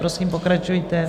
Prosím, pokračujte.